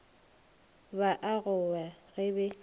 ba a gowa ge be